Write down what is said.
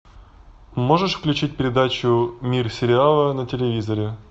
можешь включить передачу мир сериала на телевизоре